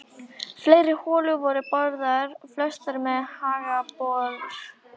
Fleiri holur voru boraðar, flestar með haglabor.